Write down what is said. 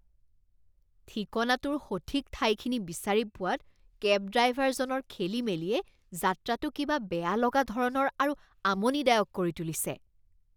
ঠিকনাটোৰ সঠিক ঠাইখিনি বিচাৰি পোৱাত কেব ড্ৰাইভাৰজনৰ খেলিমেলিয়ে যাত্ৰাটো কিবা বেয়া লগা ধৰণৰ আৰু আমনিদায়ক কৰি তুলিছে।